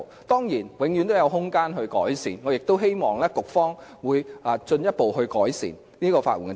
當然，制度永遠也有改善空間，我亦希望局方會進一步完善法援制度。